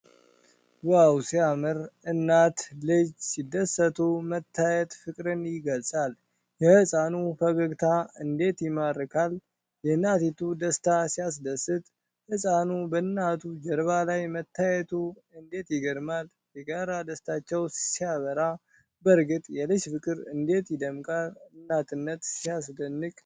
ዋው ሲያምር! እናትና ልጅ ሲደሰቱ መታየት ፍቅርን ይገልጻል! የሕፃኑ ፈገግታ እንዴት ይማርካል! የእናቲቱ ደስታ ሲያስደስት! ህፃኑ በእናቱ ጀርባ ላይ መታየቱ እንዴት ይገርማል! የጋራ ደስታቸው ሲያበራ! በእርግጥ የልጅ ፍቅር እንዴት ይደምቃል! እናትነት ሲያስደንቅ!